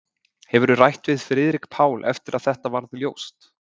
Hefurðu rætt við Friðrik Pál eftir að þetta varð ljóst?